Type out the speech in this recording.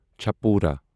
چپورا